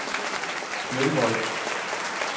Smølvold